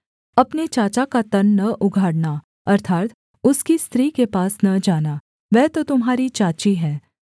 अपने चाचा का तन न उघाड़ना अर्थात् उसकी स्त्री के पास न जाना वह तो तुम्हारी चाची है